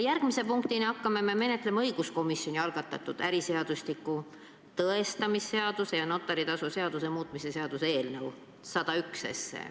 Järgmise punktina hakkame me menetlema õiguskomisjoni algatatud äriseadustiku, tõestamisseaduse ja notari tasu seaduse muutmise seaduse eelnõu 101.